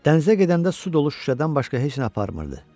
Dənizə gedəndə su dolu şüşədən başqa heç nə aparmırdı.